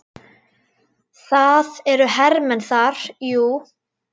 Það eru hermenn þar, jú.